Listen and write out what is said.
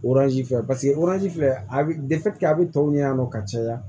fɛ paseke filɛ a bi a bɛ tɔw ɲɛ yan nɔ ka caya